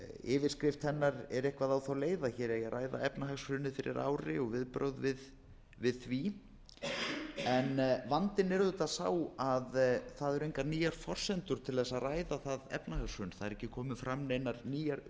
yfirskrift hennar er eitthvað á þá leið að hér eigi að ræða efnahagshrunið fyrir ári og viðbrögð við því en vandinn er auðvitað sá að það eru engar nýjar forsendur til að ræða það efnahagshrun það eru ekki komnar fram neinar nýjar